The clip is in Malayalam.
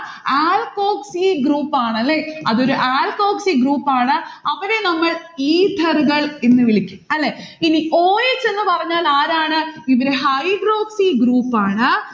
alkoxy group ആണ്, അല്ലെ? അതൊരു alkoxy group ആണ്. അവരെ നമ്മൾ ether കൾ എന്ന് വിളിക്കും. അല്ലെ? ഇനി o s എന്ന് പറഞ്ഞാൽ ആരാണ്? hydroxy group ആണ്.